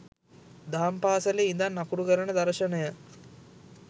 දහම්පාසලේ ඉඳන් අකුරු කරන දර්ශයන